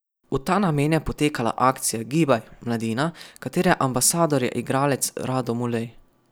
V ta namen je potekala akcija Gibaj, mladina, katere ambasador je igralec Rado Mulej.